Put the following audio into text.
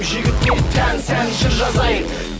жігітке тән сән жыр жазайын